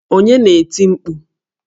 Onye na-eti mkpu?